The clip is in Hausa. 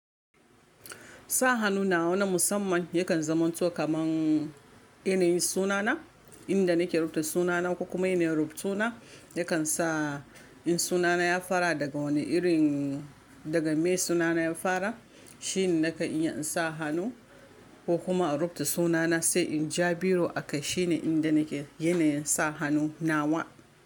Sa hannu nawa na musamman yakan zamanto kamar yanayin sunana, inda nake rubuta sunana ko kuma ina rubuta suna, yakan sa in sunana ya fara daga wani irin daga me sunana ya fara shine nake iya in sa hannu ko kuma a rubuta sunana sai in Ja biru akai shine inda nake yanayin sa hannu nawa.